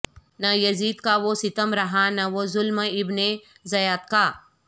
نہ یزید کا وہ ستم رہا نہ وہ ظلم ابن زیاد کا